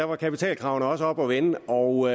var kapitalkravene også oppe at vende og